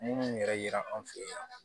Minnu yɛrɛ yera an fɛ yen